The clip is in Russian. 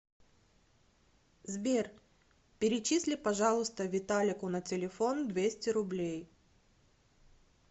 сбер перечисли пожалуйста виталику на телефон двести рублей